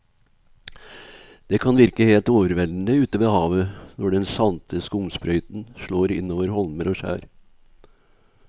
Det kan virke helt overveldende ute ved havet når den salte skumsprøyten slår innover holmer og skjær.